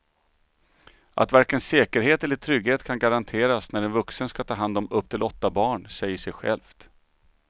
Att varken säkerhet eller trygghet kan garanteras när en vuxen ska ta hand om upp till åtta barn säger sig självt.